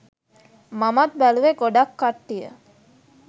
මමත් බැලුවේ ගොඩක් කට්ටිය